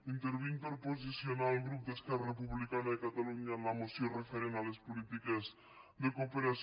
intervinc per a posicionar el grup d’esquerra republicana de catalunya en la moció referent a les polítiques de cooperació